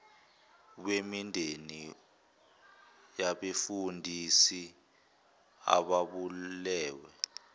wemindeni yabefundisi ababulewe